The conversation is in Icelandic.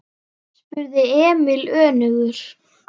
spurði Emil önugur.